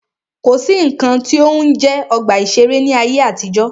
Kò sí nnkan tí ó ń jẹ́ ọgbà ìṣẹ̀rẹ́ ní ayé àtijọ́.